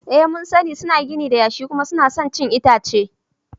Ee mun sani, suna gini da yashi kuma suna son cin itace.